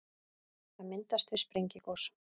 það myndast við sprengigos